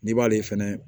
N'i b'ale fɛnɛ